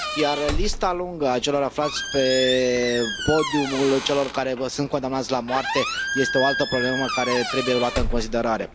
Iar lista lungă a celor aflați pe podiumul celor care sunt condamnați la moarte este o altă problemă care trebuie luată în considerare.